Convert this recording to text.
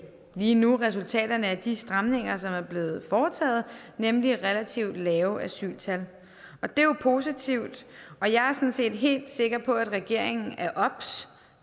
lige nu resultaterne af de stramninger som er blevet foretaget nemlig relativt lave asyltal og det er jo positivt og jeg er sådan set helt sikker på at regeringen er obs